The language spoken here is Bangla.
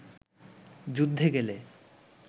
যুদ্ধে গেলে